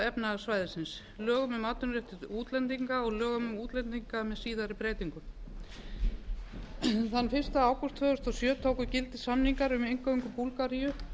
efnahagssvæðisins lögum um atvinnuréttindi útlendinga og lögum um útlendinga með síðari breytingum þann fyrsta ágúst tvö þúsund og sjö tóku inngöngu samningar um inngöngu búlgaríu